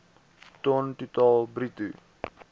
ton totaal bruto